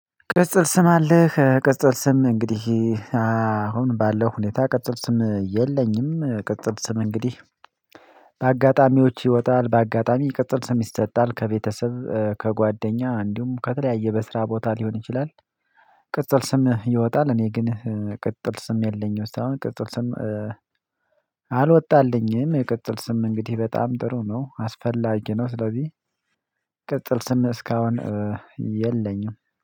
ቅጽል ስም አለህ ቅጽል ስም እንግዲህ አሁን ባለው ሁኔታ ቅጽል ስም የለኝም ቅጽል ስም እንግዲህ በአጋጣሚዎች ይወጣል በአጋጣሚ ቅጽል ስም ይሰጣል ከቤተሰብ ከጓደኛ እንዲሁም ከተለያየ በስራ ቦታ ሊሆን ይችላል ቅጽል ስም ይወጣል እኔ ግን ቅጽል ስም የለኝም ሳይሆን ቅጽል ስም አልወጣልኝም ቅጽል ስም እንግዲህ በጣም ጥሩ ነው አስፈላጊ ነው ስለዚህ ቅጽል ስም እስካሁን የለኝም።